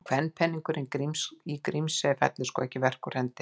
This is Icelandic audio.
Og kvenpeningnum í Grímsey fellur sko ekki verk úr hendi.